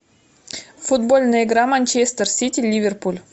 футбольная игра манчестер сити ливерпуль